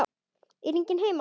Er enginn heima?